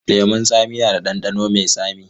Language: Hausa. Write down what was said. Lemun tsami na da ɗanɗano mai tsami.